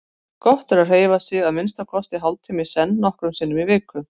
Gott er að hreyfa sig að minnsta kosti hálftíma í senn nokkrum sinnum í viku.